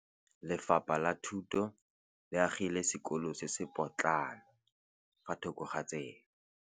Lefapha la Thuto le agile sekôlô se se pôtlana fa thoko ga tsela.